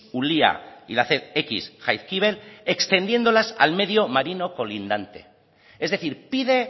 ulia y la jaizkibel extendiéndolas al medio marino colindante es decir pide